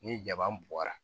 Ni jaba bɔra